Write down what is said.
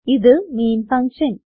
ഇത് main function